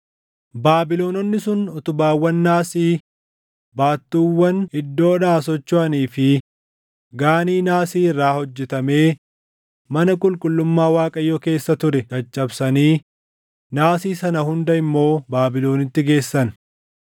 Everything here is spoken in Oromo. Baabilononni sun utubaawwan naasii, baattuuwwan iddoodhaa sochoʼanii fi Gaanii naasii irraa hojjetamee mana qulqullummaa Waaqayyoo keessa ture caccabsanii naasii sana hunda immoo Baabilonitti geessan.